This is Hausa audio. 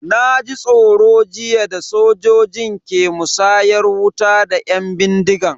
Na ji tsoro jiya da sojojin ke musayar wuta da yan bindigan.